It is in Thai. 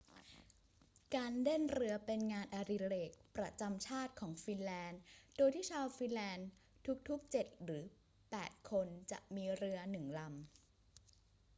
การเล่นเรือเป็นงานอดิเรกประจำชาติของฟินแลนด์ โดยที่ชาวฟินแลนด์ทุก ๆ เจ็ดหรือแปดคนจะมีเรือหนึ่งลำ